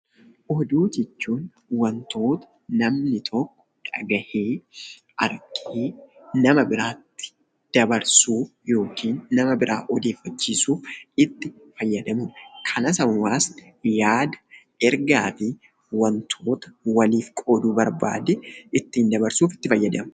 Oduu jechuun wantoota namni tokko dhaga'ee, argee nama biraatti dabarsuuf yookiin nama biraa odeeffachiisuuf itti fayyadamu dha. Kanas hawaasni yaada, ergaa fi wantoota walif qooduu barbaade ittiin dabarsuuf itti fayyadama.